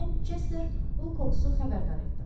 Mən Chester Lukoksu xəbərdar etdim.